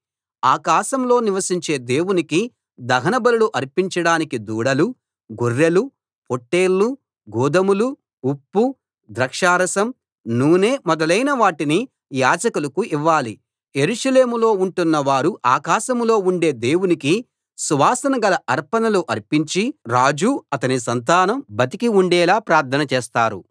ఆకాశంలో నివసించే దేవునికి దహనబలులు అర్పించడానికి దూడలు గొర్రెలు పొట్టేళ్ళు గోదుమలు ఉప్పు ద్రాక్షారసం నూనె మొదలైన వాటిని యాజకులకు ఇవ్వాలి యెరూషలేములో ఉంటున్న వారు ఆకాశంలో ఉండే దేవునికి సువాసన గల అర్పణలు అర్పించి రాజు అతని సంతానం బతికి ఉండేలా ప్రార్థన చేస్తారు